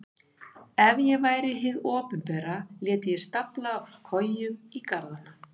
Ef ég væri hið opinbera léti ég stafla kojum í garðana.